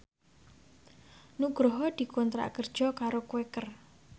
Nugroho dikontrak kerja karo Quaker